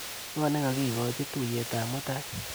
Ng'o nekakikoch tuiyetap mutai?